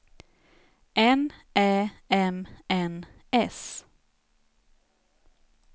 N Ä M N S